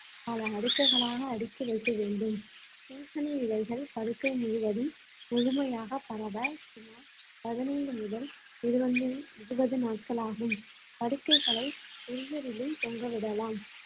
பல அடுக்குகளாக அடுக்கி வைக்க வேண்டும் பூசண இலைகள் படுக்கை முழுவதும் முழுமையாக பரவ சுமார் பதினைந்து முதல் இருபது~ இருபது நாட்களாகும் படுக்கைகளை தொங்க விடலாம்